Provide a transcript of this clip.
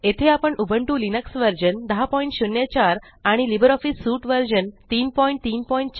येथे आपण Ubuntu Linux version 1004 आणि लिब्रिऑफिस सूट व्हर्सन 334